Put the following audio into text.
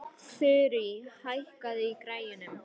Þurí, hækkaðu í græjunum.